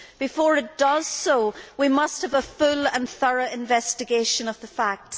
Before it does so, we must have a full and thorough investigation of the facts.